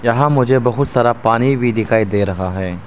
यहां मुझे बहुत सारा पानी भी दिखाई दे रहा है।